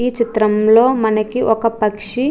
ఈ చిత్రం లో మనకి ఒక పక్షి --